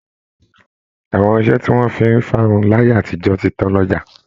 Àwọn irinṣẹ́ tí wọ̀n fi ń fárun láyé àtijọ́ ti tán lọ́jà